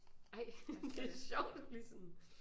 Ej det er sjovt at blive sådan